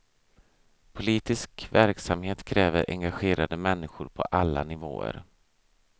Politisk verksamhet kräver engagerade människor på alla nivåer.